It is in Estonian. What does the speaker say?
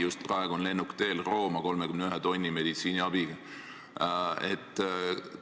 Just praegu on 31 tonni meditsiiniabiga lennuk teel Rooma.